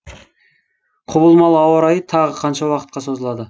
құбылмалы ауа райы тағы қанша уақытқа созылады